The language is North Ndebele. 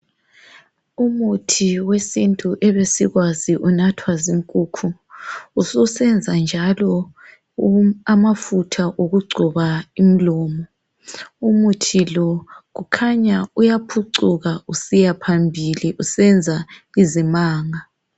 Umuthi wesintu ebesikwazi unathwa zinkukhu ususenza njalo amafutha okugcoba umlomo. Umuthi lo kukhanya uyaphucuka usiya phambili usenza izimanga.